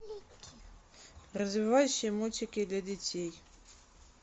развивающие мультики для детей